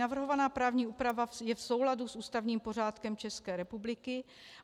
Navrhovaná právní úprava je v souladu s ústavním pořádkem České republiky.